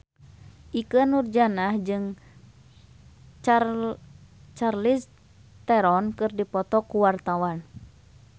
Ikke Nurjanah jeung Charlize Theron keur dipoto ku wartawan